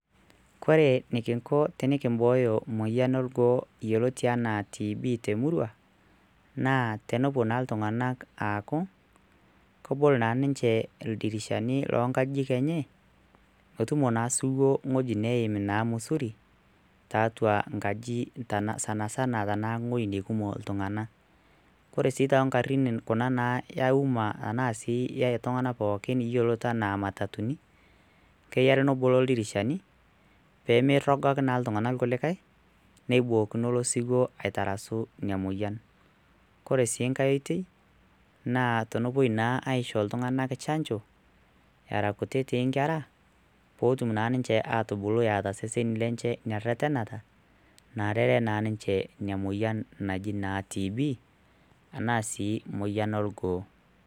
kore nikinko tenikimbooyo moyian orgoo yioloti anaa TB temurua naa tenepuo naa iltung'anak aaku kobol naa ninche ildirishani lonkajijik enye motumo naa siwuo ng'oji neim naa musuri taatua nkaji sanasana tanaa ng'oi neikumok iltung'ana kore sii toonkarrin kuna naa eauma tenaa sii e tung'anak pookin yiolot enaa matatuni keyiare nebolo ildirishani peemerrogaki naa iltung'anak ilkulikae neibookino ilo siwuo aitarasu inia moyian kore sii nkae oitei naa tonopuoi naa aisho iltung'anak chanjo era kutitik inkera pootum naa ninche atubulu eeta iseseni lenche ina rretenata naarere naa ninche inia moyian naji naa TB enaa sii emoyian orgoo.